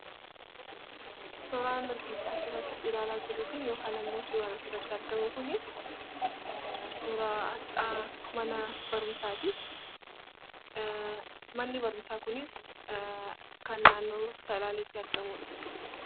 Suuraan nuti asirratti ilaalaa jirru kun yookaan ammoo suuraan asirratti argamu kun suuraa aasxaa mana barumsaati. Manni barumsaa kunis kan naannoo Salaaletti argamudha.